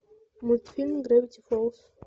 мультфильм гравити фолз